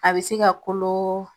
A bɛ se ka kolo